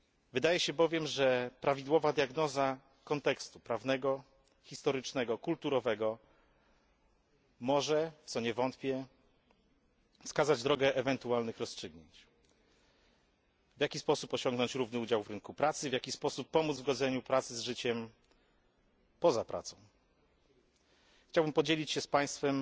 Wydaje się bowiem, że prawidłowa diagnoza kontekstu prawnego, historycznego i kulturowego może w co nie wątpię wskazać drogę ewentualnych rozstrzygnięć, w jaki sposób osiągnąć równy udział w rynku pracy, w jaki sposób pomóc w godzeniu pracy z życiem poza pracą. Chciałbym podzielić się z Państwem